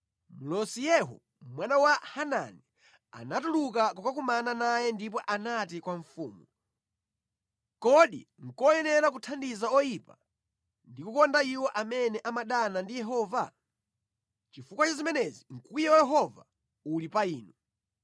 mlosi Yehu, mwana wa Hanani, anatuluka kukakumana naye ndipo anati kwa mfumu, “Kodi nʼkoyenera kuthandiza oyipa ndi kukonda iwo amene amadana ndi Yehova? Chifukwa cha zimenezi mkwiyo wa Yehova uli pa inu.